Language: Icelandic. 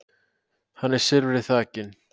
hann er silfri þakinn